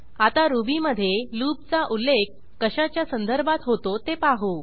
आता रुबीमधेloop चा उल्लेख कशाच्या संदर्भात होतो ते पाहू